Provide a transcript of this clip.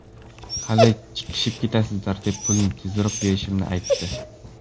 Hali chiqishib ketasizlar”, deb pulni tezroq berishimni aytdi.